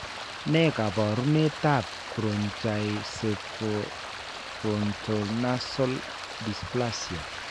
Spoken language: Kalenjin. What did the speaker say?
Ne kaabarunetap Brachycephalofrontonasal dysplasia?